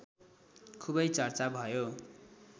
खुबै चर्चा भयो